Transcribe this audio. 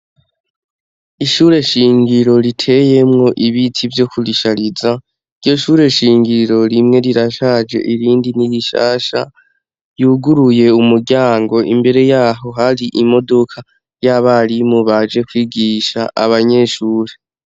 Ishure shingiro riteyemwo ibiti vyo kurishariza ,iryo shure shingiro rimwe rirashaje ,irindi nirishasha yuguruye umuryango imbere yaho hari imodoka y'abarimu baje kwigisha abanyeshure.